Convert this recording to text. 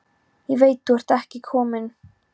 Ég veit þú ert ekki kominn.